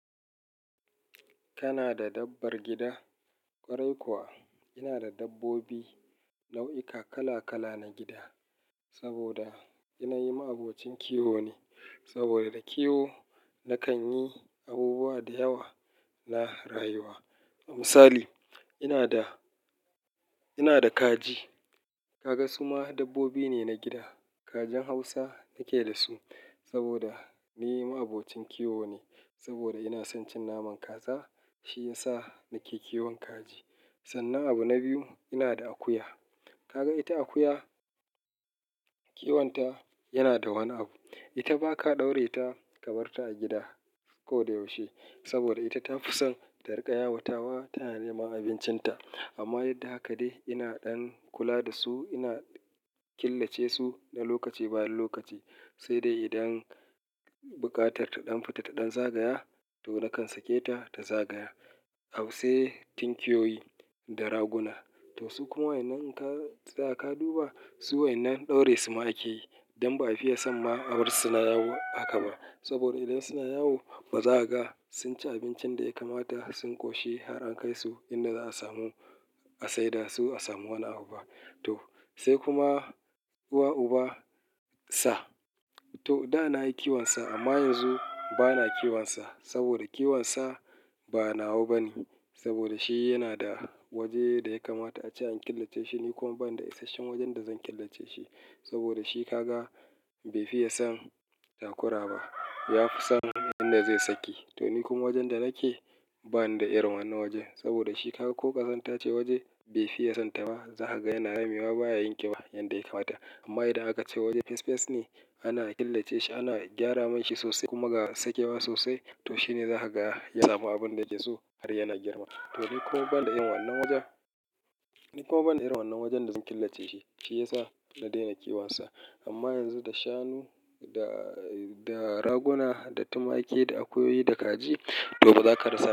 Kana da dabbar gida? Kwarai kuwa ina da dabbobi, nau'ika kala-kala na gida, saboda ina yi ma abocin kiwo ne. Saboda da kiwo nakan yi abubuwa da yawa na rayuwa. Misali ina da, ina da kaji. Kaga suma dabbobi ne na gida. Kajin Hausa nake da su saboda ni ma'abocin kiwo ne. Saboda ina son cin naman kaza, shi ya sa nake kiwon kaji. Sannan abu na biyu ina da akuya. Kaga ita akuya kiwonta yana da wani abu. Ita ba ka ɗaure ta kabarta a gida koda yaushe. Saboda ita ta fi son ta riƙa yawatawa ta na nema abincinta. Amma yadda haka dai ina ɗan kula da su. Ina killace su na lokaci bayan lokaci. Sai dai idan buƙatar ta ɗan fita ta ɗan zagaya to nakan sake ta ta zagaya. Au se tinkiyoyi da raguna. To su kuma wa'innan in ka tsaya ka duba, su wa'innan ɗaure su ma ake yi. Dan ba a fiye san ma abarsu suna yawo haka ba. Saboda idan suna yawo ba za a ga sun ci abincin da ya kamata. Sun ƙoshi har an kai su inda za a samu a saida su a samu wani abu ba. To sai kuma uwa uba sa. To da na yi kiwon sa amma yanzu ba na kiwon sa. Saboda kiwon sa ba nawa ba ne. Saboda shi yana da waje da ya kamata a ce an killace shi. Ni kuma ban da isashen wajen da zan killace shi. Saboda shi ka ga bai fiye san takura ba. Ya fi san inda zai sake. To ni kuma wajen da nake bani da irin wannan wajen. Saboda shi kaga ko kazan ta ce waje bai fiye san ta ma. Za ka ga yana rame wa baya yin ƙiba yanda ya kamata. Amma idan aka ce waje fes fes ne ana killace shi, ana gyara mai shi sosai kuma ga sakewa sosai. To shi ne za ka ga ya samu abin da yake so har yana girma. To ni kuma ban da irin wannan wajen, ni kuma ban da irin wannan wajen da zan killace shi. Shi ya sa na daina kiwon sa. Amma yanzu da shanu, da, da raguna, da tumaki, da akuyoyi, da kaji to ba za ka rasa ba.